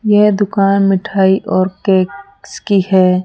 यह दुकान मिठाई और के क्स की है।